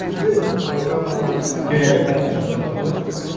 бізде программаны теория мен практикасы жатыр ғой